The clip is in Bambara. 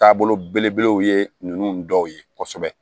Taabolo belebelew ye ninnu dɔw ye kosɛbɛ